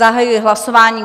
Zahajuji hlasování.